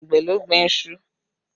Àgbẹ̀ ló gbin iṣu